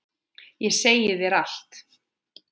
Ég segi þér allt.